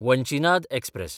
Vanchinad express